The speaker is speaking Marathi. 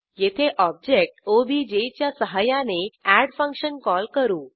येथे ऑब्जेक्ट ओबीजे च्या सहाय्याने एड फंक्शन कॉल करू